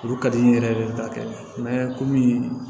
Olu ka di n ye yɛrɛ de ka kɛ komi